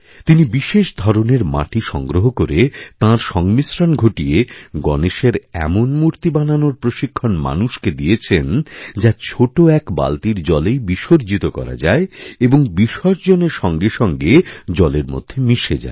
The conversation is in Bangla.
তিনি বিশেষ ধরনের মাটি সংগ্রহ করে তাঁরসংমিশ্রণ ঘটিয়ে গণেশের এমন মূর্তি বানানোর প্রশিক্ষণ মানুষকে দিয়েছেন যা ছোটো একবালতির জলেই বিসর্জিত করা যায় এবং বিসর্জনের সঙ্গে সঙ্গে জলের মধ্যে মিশে যায়